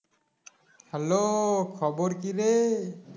Hello খবর কিরে